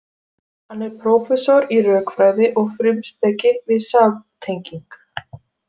Hann er prófessor í rökfræði og frumspeki við samtenging